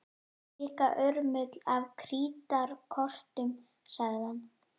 Líka urmull af krítarkortum sagði hann.